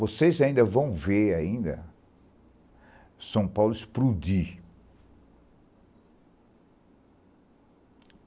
Vocês ainda vão ver ainda São Paulo explodir.